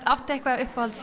áttu eitthvað uppáhalds